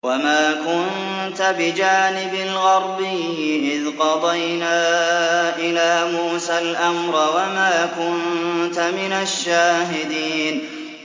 وَمَا كُنتَ بِجَانِبِ الْغَرْبِيِّ إِذْ قَضَيْنَا إِلَىٰ مُوسَى الْأَمْرَ وَمَا كُنتَ مِنَ الشَّاهِدِينَ